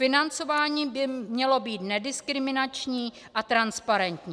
Financování by mělo být nediskriminační a transparentní.